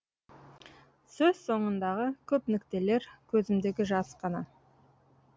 сөз соңындағы көп нүктелер көзімдегі жас қана